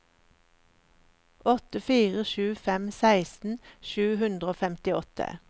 åtte fire sju fem seksten sju hundre og femtiåtte